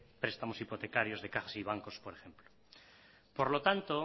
prestamos hipotecarios de cajas y bancos por ejemplo por lo tanto